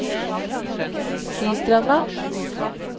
Sistranda